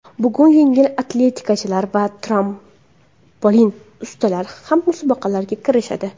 Bugun yengil atletikachilar va trampolin ustalari ham musobaqalarga kirishadi.